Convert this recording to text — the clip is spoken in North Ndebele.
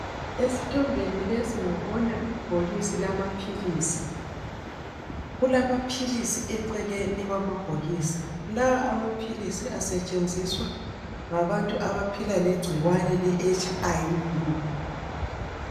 Esithombeni lesi ngibona ibhokisi lamaphilisi kulamaphilisi ecekeni kwamabhokisi. Lawa amaphilisi asetshenziswa ngabantu abaphila legciwane le HIV.